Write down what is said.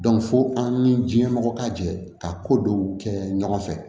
fo an ni diɲɛ mɔgɔ ka jɛ ka ko dɔw kɛ ɲɔgɔn fɛ